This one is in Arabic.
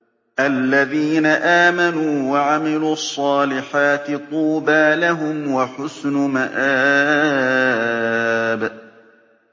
الَّذِينَ آمَنُوا وَعَمِلُوا الصَّالِحَاتِ طُوبَىٰ لَهُمْ وَحُسْنُ مَآبٍ